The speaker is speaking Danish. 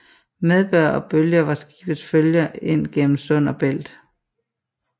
Medbør og bølge var skibets følge ind gennem sund og belt